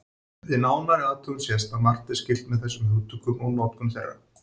Við nánari athugun sést að margt er skylt með þessum hugtökum og notkun þeirra.